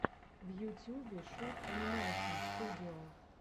в ютюбе шут анимэйшн студио